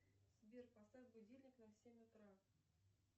сбер поставь будильник на семь утра